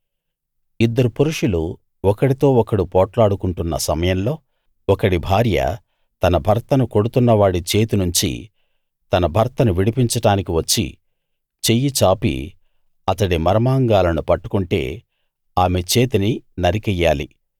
ఇద్దరు పురుషులు ఒకడితో ఒకడు పోట్లాడుకుంటున్న సమయంలో ఒకడి భార్య తన భర్తను కొడుతున్నవాడి చేతి నుంచి తన భర్తను విడిపించడానికి వచ్చి చెయ్యి చాపి అతడి మర్మాంగాలను పట్టుకుంటే ఆమె చేతిని నరికెయ్యాలి